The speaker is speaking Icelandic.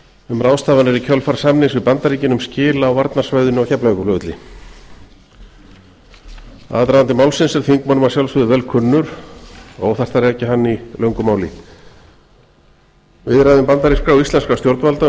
um ráðstafanir í kjölfar samnings við bandaríkin um skil á varnarsvæðinu á keflavíkurflugvelli aðdragandi málsins er þingmönnum að sjálfsögðu vel kunnur og óþarft að rekja hann í löngu máli viðræðum bandarískra og íslenskra stjórnvalda um